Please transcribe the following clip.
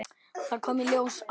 Þá kom í ljós að